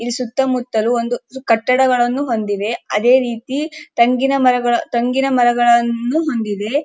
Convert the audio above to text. ಈ ಸುತ್ತ ಮುತ್ತಲು ಒಂದು ಕಟ್ಟಡಗಳನ್ನು ಹೊಂದಿದೆ ಅದೇ ರೀತಿ ತೆಂಗಿನ ಮರಗಳನ್ನು ಹೊಂದಿದೆ.